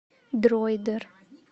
дроидер